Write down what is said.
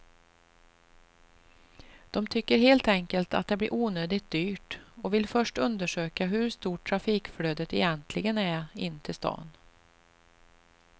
De tycker helt enkelt att det blir onödigt dyrt och vill först undersöka hur stort trafikflödet egentligen är in till stan.